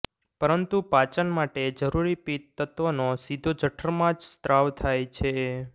પરંતુ પાચન માટે જરૂરી પિત્ત તત્વનો સીધો જઠરમાં જ સ્ત્રાવ થાય છે